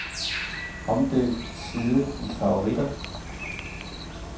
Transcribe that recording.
Omdøb side i favoritter.